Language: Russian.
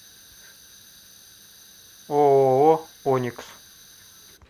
ооо оникс